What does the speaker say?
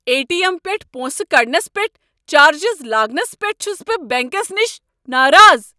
A. T. M پٮ۪ٹھہٕ پۄنسہٕ کڑنس پٮ۪ٹھ چارجٕز لاگنس پٮ۪ٹھ چُھس بہٕ بینکس نِشہِ ناراض ۔